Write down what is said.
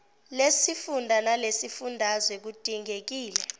lesifunda nelesifundazwe kudingekile